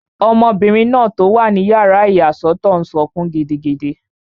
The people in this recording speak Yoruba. Ọmọbìnrin náà tó wà ní yàrá ìyàsọ́tọ̀ n sọkún gidigidi